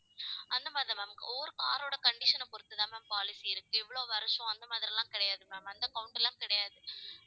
அந்த மாதிரிதான் ma'am ஒவ்வொரு car ரோட condition ஐப் பொறுத்துதான் ma'am policy இருக்கு இவ்வளவு வருஷம், அந்த மாதிரி எல்லாம் கிடையாது ma'am அந்த count எல்லாம் கிடையாது